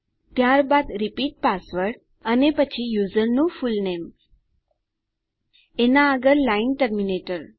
ત્યારબાદ repeat password અને પછી યુઝરનું ફુલનેમ એનાં આગળ લાઈન ટર્મીનેટર